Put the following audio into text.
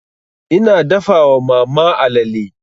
Ina dafa wa mama alale.